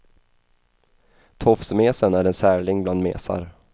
Tofsmesen är en särling bland mesar.